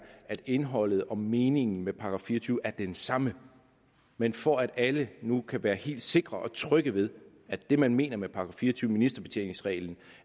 at indholdet og meningen med § fire og tyve er den samme men for at alle nu kan være helt sikre og trygge ved at det man mener med § fire og tyve ministerbetjeningsreglen